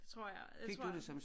Det tror jeg jeg tror